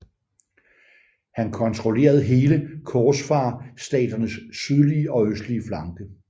Han kontrollerede hele korsfarerstaternes sydlige og østlige flanke